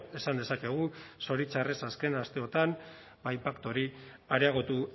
esan dezakegu zoritxarrez azken asteotan inpaktu hori areagotu